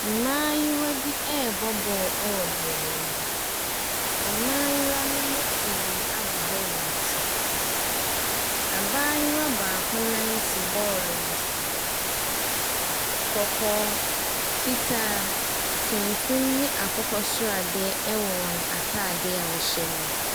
Mmaayewa rebɔ ball wɔ beaeɛ bi. Mmayewa no bi pii abobɔ wɔn ti. Abayewa baako nan si bɔɔlo no so. Kɔkɔɔ, fitaa, tuntum ne akokɔ sradeɛ wɔ wɔn atadeɛ a wɔhyɛ no mu.